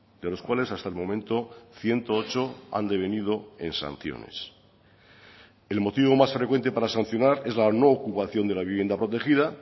de los cuales hasta el momento ciento ocho han devenido en sanciones el motivo más frecuente para sancionar es la no ocupación de la vivienda protegida